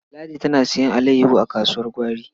Ladi tana sayen alayyaho a kasuwar gwari.